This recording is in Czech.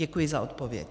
Děkuji za odpověď.